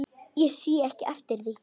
Ég sé ekki eftir því.